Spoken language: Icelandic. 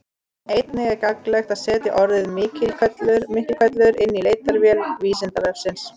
Einnig er gagnlegt að setja orðið Miklihvellur inn í leitarvél Vísindavefsins.